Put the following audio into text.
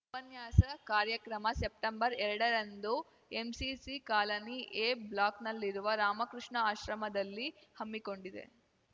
ಉಪನ್ಯಾಸ ಕಾರ್ಯಕ್ರಮ ಸೆಪ್ಟೆಂಬರ್ಎರಡರಂದು ಎಂಸಿಸಿ ಕಾಲನಿ ಎ ಬ್ಲಾಕ್‌ನಲ್ಲಿರುವ ರಾಮಕೃಷ್ಣ ಆಶ್ರಮದಲ್ಲಿ ಹಮ್ಮಿಕೊಂಡಿದೆ